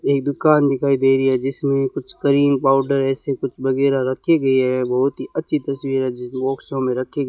एक दुकान दिखाई दे रही है जिसमें कुछ करीम पाउडर ऐसे कुछ वगैरह रखी गई है बहुत ही अच्छी तस्वीर है जिस बाक्सों में रखी --